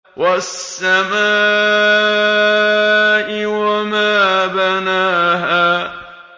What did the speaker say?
وَالسَّمَاءِ وَمَا بَنَاهَا